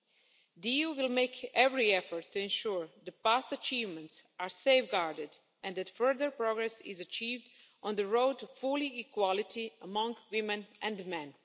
The EU will make every effort to ensure that past achievements are safeguarded and that further progress is achieved on the road to full equality among women and men.